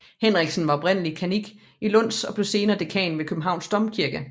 Henriksen var oprindeligt kannik i Lund og blev senere dekan ved Københavns Domkirke